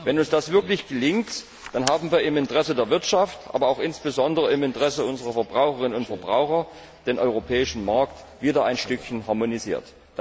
Wenn uns das wirklich gelingt, dann haben wir im Interesse der Wirtschaft, aber auch insbesondere im Interesse unserer Verbraucherinnen und Verbraucher den europäischen Markt wieder ein Stückchen harmonisiert.